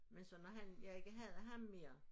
Men så når han jeg ikke havde ham mere